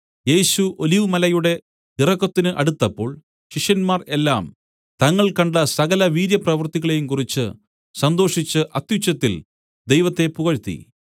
യേശു ഒലിവുമലയുടെ ഇറക്കത്തിന് അടുത്തപ്പോൾ ശിഷ്യന്മാർ എല്ലാം തങ്ങൾ കണ്ട സകല വീര്യപ്രവൃത്തികളെയും കുറിച്ച് സന്തോഷിച്ച് അത്യുച്ചത്തിൽ ദൈവത്തെ പുകഴ്ത്തി